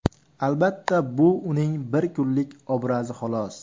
Albatta, bu uning bir kunlik obrazi xolos.